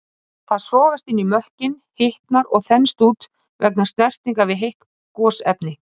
Það sogast inn í mökkinn, hitnar og þenst út vegna snertingar við heit gosefni.